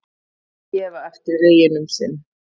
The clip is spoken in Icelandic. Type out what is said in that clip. Gefa eftir veginn um sinn